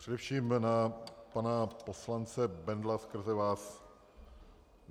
Především na pana poslance Bendla skrze vás.